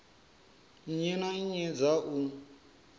nnyi na nnyi dza u